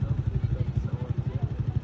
Sağ tərəfdən söhbət gedir.